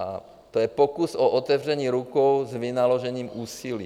A to je pokus o otevření rukou s vynaložením úsilí.